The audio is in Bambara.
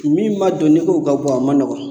Kun min ma don n'i k'o ka bɔ a ma nɔgɔn